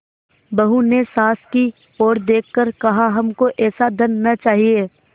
बहू ने सास की ओर देख कर कहाहमको ऐसा धन न चाहिए